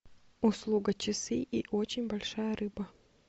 услуга часы и очень большая рыба